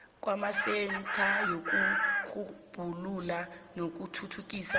kwamasentha wokurhubhulula nokuthuthukisa